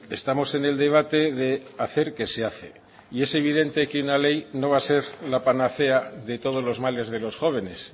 estamos en el debate de hacer que se hace y es evidente que una ley no va a ser la panacea de todos los males de los jóvenes